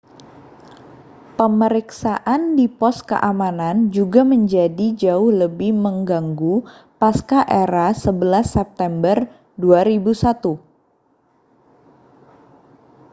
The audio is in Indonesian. pemeriksaan di pos keamanan juga menjadi jauh lebih mengganggu pasca-era 11 september 2001